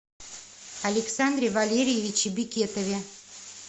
александре валерьевиче бекетове